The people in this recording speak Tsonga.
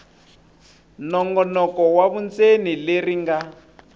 nongonoko wa vundzeni leri nga